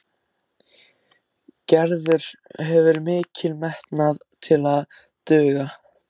Gerður hefur mikinn metnað til að duga.